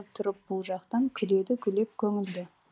тұрып бұл жақтан күледі гулеп көңілді